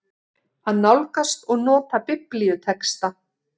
AÐ NÁLGAST OG NOTA BIBLÍUTEXTA